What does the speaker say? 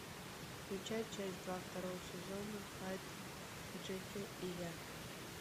включай часть два второго сезона хайд джекилл и я